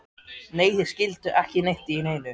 Nei, þeir skildu ekki neitt í neinu.